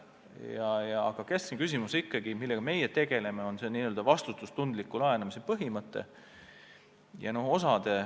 Aga keskne küsimus, millega meie tegeleme, on ikkagi n-ö vastutustundliku laenamise põhimõtte rakendamine.